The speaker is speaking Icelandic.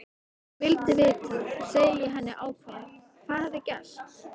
Vildi vita, segi ég henni ákveðið, hvað hafði gerst.